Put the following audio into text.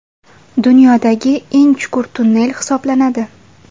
Dunyodagi eng chuqur tunnel hisoblanadi.